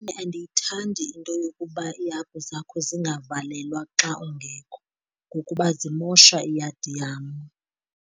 Andiyithandi into yokuba iihagu zakho zingavalelwa xa ungekho ngokuba zimosha iyadi yam.